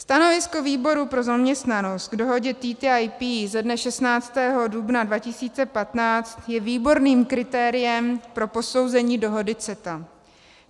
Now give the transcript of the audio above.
Stanovisko výboru pro zaměstnanost k dohodě TTIP ze dne 16. dubna 2015 je výborným kritériem pro posouzení dohody CETA.